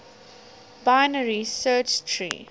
binary search tree